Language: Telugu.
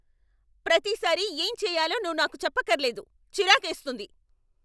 ప్రతిసారీ ఏం చేయాలో నువ్వు నాకు చెప్పక్కర్లేదు. చిరాకేస్తుంది.